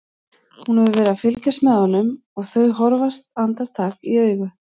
Hún hefur verið að fylgjast með honum og þau horfast andartak í augu.